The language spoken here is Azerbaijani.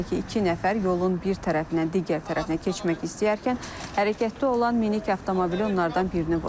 Belə ki, iki nəfər yolun bir tərəfindən digər tərəfinə keçmək istəyərkən hərəkətdə olan minik avtomobili onlardan birini vurub.